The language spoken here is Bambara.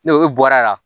Ni o bɔra yan